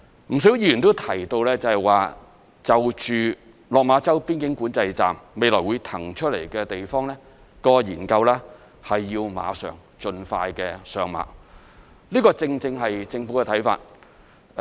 不少議員都提到，就落馬洲邊境管制站未來會騰出來的地方的研究要馬上、盡快上馬，這正正是政府的看法。